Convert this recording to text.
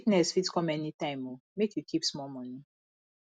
sickness fit come anytime o make you keep small moni